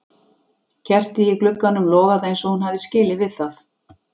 Kertið í glugganum logaði eins og hún hafði skilið við það.